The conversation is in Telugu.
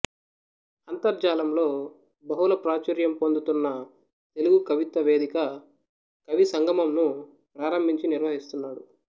అంతర్జాలంలో బహుళ ప్రాచుర్యం పొందుతున్న తెలుగు కవిత్వ వేదిక కవి సంగమంను ప్రారంభించి నిర్వహిస్తున్నాడు